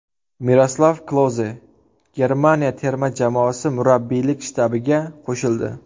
Miroslav Kloze Germaniya terma jamoasi murabbiylik shtabiga qo‘shildi.